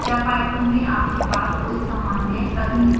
क्या python में आपके पास कोई सामान्य/तकनीकी प्रश्न है